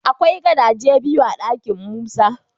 Akwai gadaje biyu a dakin Musa.